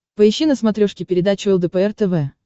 поищи на смотрешке передачу лдпр тв